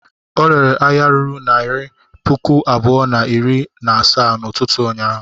Ọ rere ahịa ruru naịra puku abụọ na iri na asaa n'ụtụtụ ụnyaahụ?